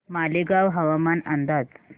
मालेगाव हवामान अंदाज